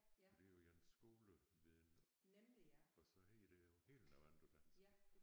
For det jo ens skole viden og så hedder det jo helt noget andet på dansk